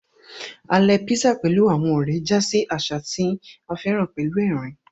Alè písà pẹ̀lú àwọn ọ̀rẹ́ já sí àṣà tí a féràn pẹ̀lú ẹ̀rín